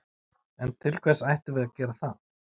En til hvers ættum við að gera það?